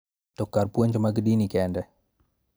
To kar puonj mag dini kende.